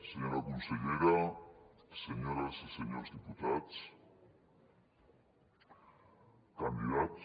senyora consellera senyores i senyors diputats candidats